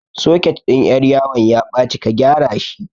Soket ɗin ƴar yawan ya ɓaci ka gyara shi